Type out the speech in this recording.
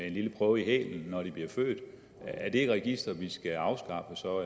en lille prøve i hælen når de bliver født er det et register vi så skal afskaffe